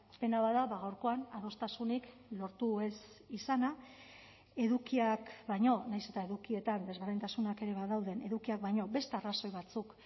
pena bat da gaurkoan adostasunik lortu ez izana edukiak baino nahiz eta edukietan desberdintasunak ere badauden edukiak baino beste arrazoi batzuk